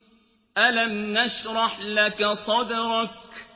أَلَمْ نَشْرَحْ لَكَ صَدْرَكَ